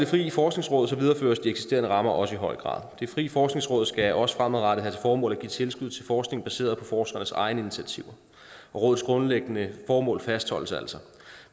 frie forskningsråd videreføres de eksisterende rammer også i høj grad det frie forskningsråd skal også fremadrettet have til formål at give tilskud til forskning baseret på forskernes egne initiativer og rådets grundlæggende formål fastholdes altså